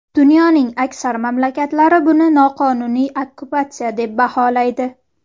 Dunyoning aksar mamlakatlari buni noqonuniy okkupatsiya deb baholaydi.